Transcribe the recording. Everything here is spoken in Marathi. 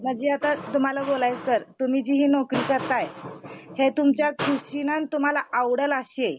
तर तुम्ही जी नोकरी करताय हि तुमच्या दृष्टीनं तुम्हाला आवडलं अशीये.